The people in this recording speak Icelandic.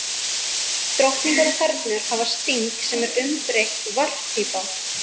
Drottningar og þernur hafa sting, sem er umbreytt varppípa.